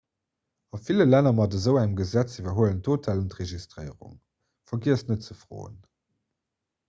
a ville länner mat esou engem gesetz iwwerhuelen d'hotellen d'registréierung vergiesst net ze froen